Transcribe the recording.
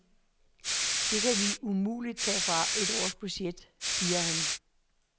Det kan vi umuligt tage fra et års budget, siger han.